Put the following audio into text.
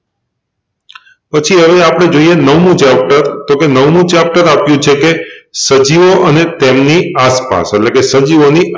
પછી હવે આપણે જોઈએ નવમું ચેપ્ટર તોકે નવમું ચેપ્ટર આપ્યું છે કે સજીઓ અને તેમની આસપાસ એટલેકે સજીવોની